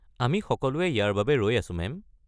আমি সকলোৱে ইয়াৰ বাবে ৰৈ আছোঁ, মেম।